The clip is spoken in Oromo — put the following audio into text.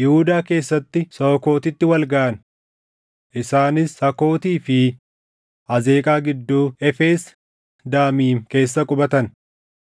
Yihuudaa keessatti Sookootitti wal gaʼan. Isaanis Sakootii fi Azeeqaa gidduu Efes Damiim keessa qubatan.